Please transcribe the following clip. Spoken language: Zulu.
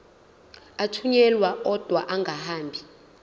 athunyelwa odwa angahambi